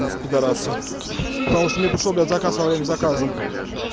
педарасы мне пришёл заказ во время заказа